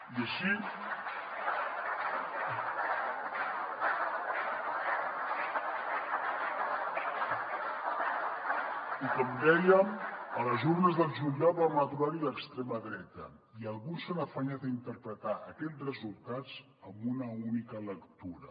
i així i com dèiem a les urnes del juliol vam aturar hi l’extrema dreta i alguns s’han afanyat a interpretar aquest resultats amb una única lectura